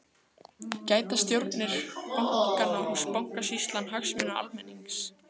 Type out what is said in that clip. Gæta stjórnir bankanna og Bankasýslan hagsmuna almennings?